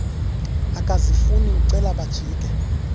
akazifuni ucela bajike